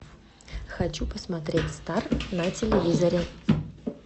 хочу посмотреть стар на телевизоре